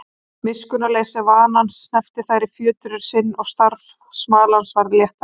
Miskunnarleysi vanans hneppti þær í fjötur sinn og starf smalans varð léttara.